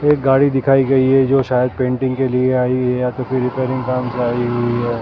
एक गाड़ी दिखाई गई है जो शायद पेंटिंग के लिए आई है या तो फिर रिपेयरिंग काम से आई हुई है।